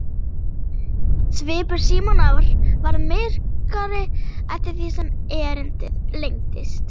Svipur Símonar varð myrkari eftir því sem erindið lengdist.